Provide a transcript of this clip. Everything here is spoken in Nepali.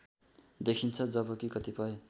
देखिन्छ जबकि कतिपय